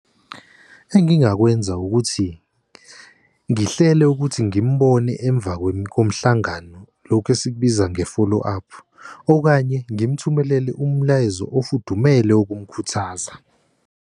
Engingakwenza ukuthi ngihlele ukuthi ngimbone emva komhlangano, lokhu esikubiza nge-follow-up okanye ngimuthumelele umlayezo ofudumele wokumkhuthaza.